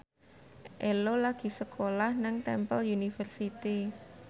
Ello lagi sekolah nang Temple University